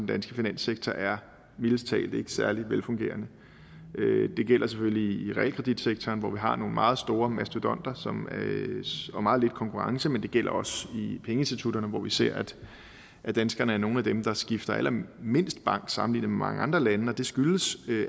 danske finanssektor mildest talt ikke er særlig velfungerende det gælder selvfølgelig i realkreditsektoren hvor vi har nogle meget store mastodonter og meget lidt konkurrence men det gælder også i pengeinstitutterne hvor vi ser at danskerne er nogle af dem der skifter allermindst bank sammenlignet med mange andre lande og det skyldes